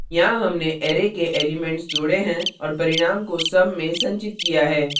यहाँ हमने array के elements जोड़े हैं और परिणाम को sum में संचित किया है